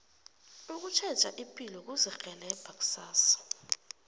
ukutjheja ipilo kuzirhelebha kusasa